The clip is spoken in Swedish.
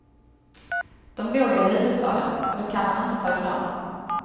Dom bor ju i huvudstaden och det kan man inte ta ifrån dom.